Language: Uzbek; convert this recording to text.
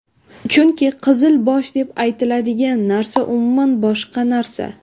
Chunki ‘qizil bosh’ deb aytiladigan narsa umuman boshqa narsa.